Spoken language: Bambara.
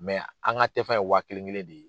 an ka tɛ fɛn ye waa kelen kelen de ye.